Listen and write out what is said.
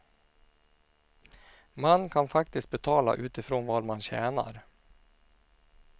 Man kan faktiskt betala utifrån vad man tjänar.